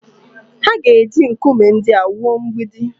Ha ga-eji nkume ndị a wuo mgbidi